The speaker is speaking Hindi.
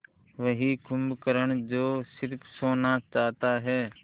वही कुंभकर्ण जो स़िर्फ सोना चाहता है